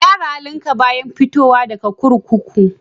Ka gyara halinka bayan fitowa daga kurkuku.